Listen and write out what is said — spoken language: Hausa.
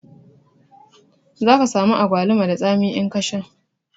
Zaka samu agwaluma da tsami in ka sha